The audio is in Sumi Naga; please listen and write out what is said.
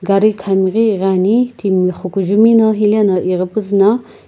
gari khami ghi ighi ani timi xukujumino hilena ighipuzu na.